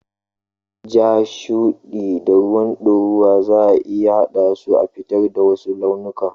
Ja, shuɗi da ruwan ɗorawa zaa iya haɗa su a fitar da wasu launikan.